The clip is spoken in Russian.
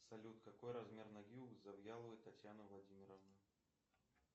салют какой размер ноги у завьяловой татьяны владимировны